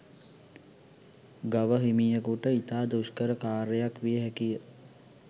ගව හිමියකුට ඉතා දුෂ්කර කාර්යයක් විය හැකිය